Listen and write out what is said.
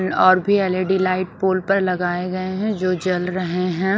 और भी L E D light pole पर लगाए गए हैं जो जल रहे हैं।